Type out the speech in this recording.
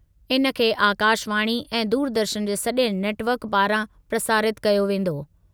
इन खे आकाशवाणी ऐं दूरदर्शन जे सॼे नेटवर्क पारां प्रसारितु कयो वेंदो।